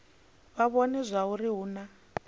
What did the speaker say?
vha vhone zwauri hu na